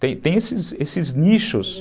Tem tem esses nichos.